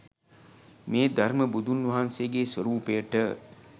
මේ ධර්ම බුදුන් වහන්සේගේ ස්වරූපයට